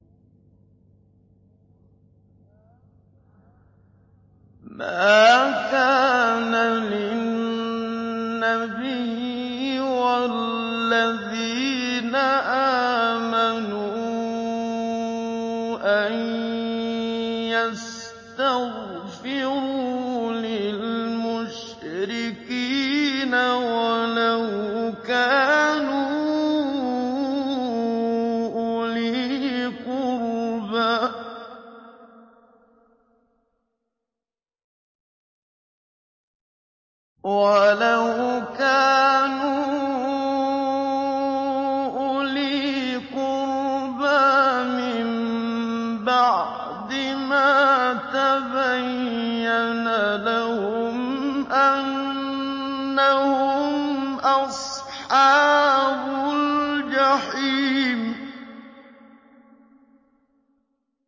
مَا كَانَ لِلنَّبِيِّ وَالَّذِينَ آمَنُوا أَن يَسْتَغْفِرُوا لِلْمُشْرِكِينَ وَلَوْ كَانُوا أُولِي قُرْبَىٰ مِن بَعْدِ مَا تَبَيَّنَ لَهُمْ أَنَّهُمْ أَصْحَابُ الْجَحِيمِ